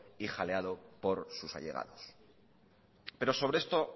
y jaleado por sus allegados pero sobre esto